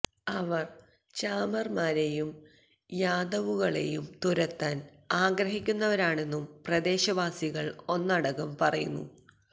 അവര് ചാമര്മാരെയും യാദവുകളെയും തുരത്താന് ആഗ്രഹിക്കുന്നവരാണെന്നും പ്രദേശവാസികള് ഒന്നടങ്കം പറയുന്നു